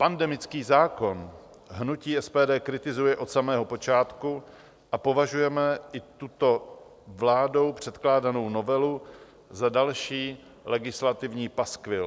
Pandemický zákon hnutí SPD kritizuje od samého počátku a považujeme i tuto vládou předkládanou novelu za další legislativní paskvil.